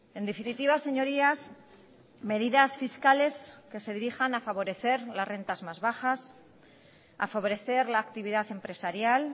en definitiva señorías medidas fiscales que se dirijan a favorecer las rentas más bajas a favorecer la actividad empresarial